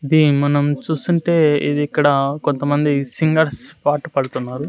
ఇది మనం చూస్తుంటే ఇది ఇక్కడ కొంతమంది సింగర్స్ పాట పాడుతున్నారు.